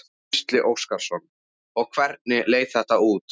Gísli Óskarsson: Og hvernig leit þetta út?